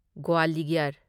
Gwalior